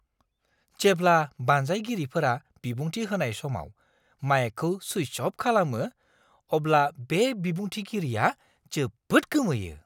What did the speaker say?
जेब्ला बानजायगिरिफोरा बिबुंथि होनाय समाव माइकखौ सुइच अफ खालामो, अब्ला बे बिबुंथिगिरिया जोबोद गोमोयो!